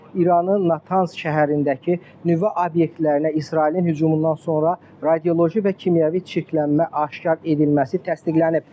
İranın Natans şəhərindəki nüvə obyektlərinə İsrailin hücumundan sonra radioloji və kimyəvi çirklənmə aşkar edilməsi təsdiqlənib.